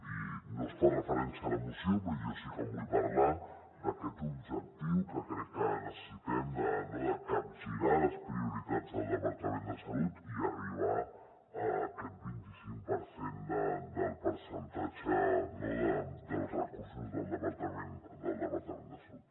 i no es fa referència a la moció però jo sí que en vull parlar d’aquest objectiu que crec que necessitem no de capgirar les prioritats del departament de salut i arribar a aquest vint i cinc per cent del percentatge dels recursos del departament de salut